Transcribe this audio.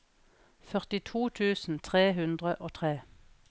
førtito tusen tre hundre og tre